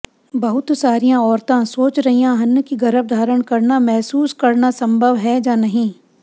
ਬਹੁਤ ਸਾਰੀਆਂ ਔਰਤਾਂ ਸੋਚ ਰਹੀਆਂ ਹਨ ਕਿ ਗਰੱਭਧਾਰਣ ਕਰਨਾ ਮਹਿਸੂਸ ਕਰਨਾ ਸੰਭਵ ਹੈ ਜਾਂ ਨਹੀਂ